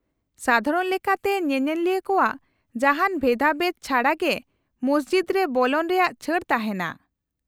-ᱥᱟᱫᱷᱟᱨᱚᱱ ᱞᱮᱠᱟᱛᱮ ᱧᱮᱧᱮᱞᱤᱭᱟᱹ ᱠᱚᱣᱟᱜ ᱡᱟᱦᱟᱱ ᱵᱷᱮᱫᱟᱵᱷᱮᱫ ᱪᱷᱟᱰᱟ ᱜᱮ ᱢᱚᱥᱡᱤᱫ ᱨᱮ ᱵᱚᱞᱚᱱ ᱨᱮᱭᱟᱜ ᱪᱷᱟᱹᱲ ᱛᱟᱦᱮᱱᱟ ᱾